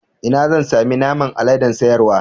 Ina zan sami naman aladen sayarwa.